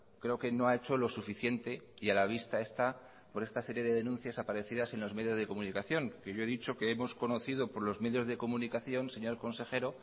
creo que no ha hecho lo suficiente y a la vista está estas series de denuncias aparecidas en los medios de comunicación yo he dicho que hemos conocido por los medios de comunicación señor consejero